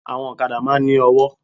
Àwọn òkadá máa n ní ọwó